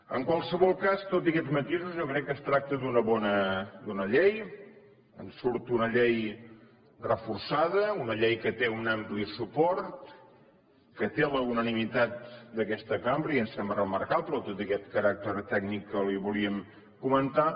en qualsevol cas tot i aquests matisos jo crec que es tracta d’una bona llei en surt una llei reforçada una llei que té un ampli suport que té la unanimitat d’aquesta cambra i em sembla remarcable tot i aquest caràcter tècnic que li volíem comentar